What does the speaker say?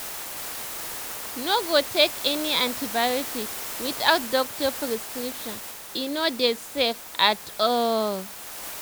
no go take any antibiotics without doctor prescription e no dey safe at all